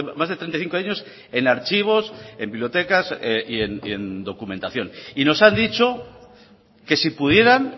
más de treinta y cinco años en archivos en bibliotecas y en documentación y nos han dicho que si pudieran